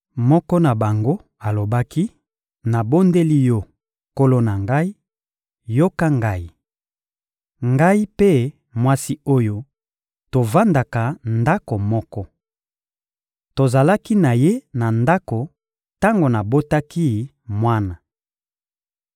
Moko na bango alobaki: — Nabondeli yo, nkolo na ngai, yoka ngai! Ngai mpe mwasi oyo, tovandaka ndako moko. Tozalaki na ye na ndako tango nabotaki mwana.